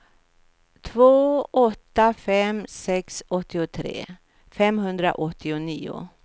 två åtta fem sex åttiotre femhundraåttionio